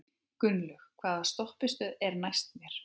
Gunnlaug, hvaða stoppistöð er næst mér?